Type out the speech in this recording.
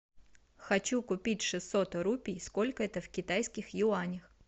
хочу купить шестьсот рупий сколько это в китайских юанях